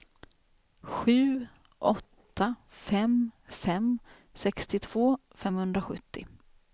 sju åtta fem fem sextiotvå femhundrasjuttio